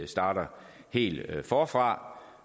starter helt forfra